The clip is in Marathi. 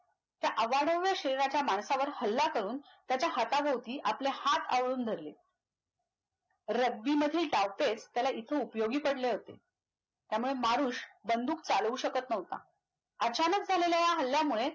त्या अवाढव्य शरीराच्या माणसावर हल्ला करून. त्याच्या हाथ भोवती हाथ धरून आवळलुन धरले. rugby मधील डावपेच त्याला इथे उपयोगी पडले होते. त्यामुळे मारुश बंदूक चालवू शकत नव्हता. अचानक झालेल्या या हल्ल्यामुळे